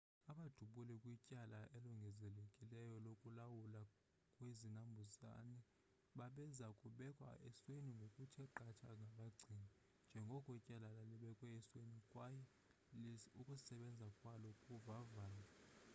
abadubuli kwityala elongezelelekileyo lokulawulwa kwezinambuzane babeza kubekwa esweni ngokuthe qatha ngabagcini njengoko ityala lalibekwe esweni kwaye ukusebenza kwalo kuvavanywa